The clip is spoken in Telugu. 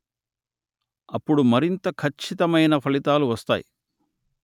అప్పుడు మరింత ఖచ్చితమైన ఫలితాలు వస్తాయి